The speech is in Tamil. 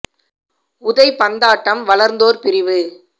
உதைபந்தாட்டம் வளர்ந்தோர் பிரிவு